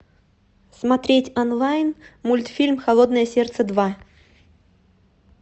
смотреть онлайн мультфильм холодное сердце два